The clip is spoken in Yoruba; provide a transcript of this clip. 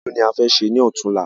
Irú ni a fẹ ṣe ní ọ̀túnla